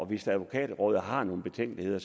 hvis advokatrådet har nogle betænkeligheder